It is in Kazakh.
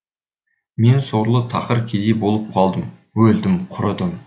мен сорлы тақыр кедей болып қалдым өлдім құрыдым